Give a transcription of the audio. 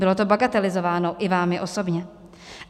Bylo to bagatelizováno i vámi osobně.